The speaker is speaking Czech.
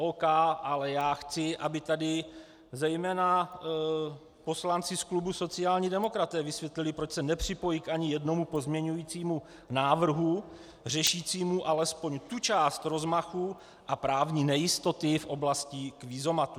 Ok, ale já chci, aby tady zejména poslanci z klubu sociální demokraté vysvětlili, proč se nepřipojí ani k jednomu pozměňujícímu návrhu řešícímu alespoň tu část rozmachu a právní nejistoty v oblastí kvízomatů.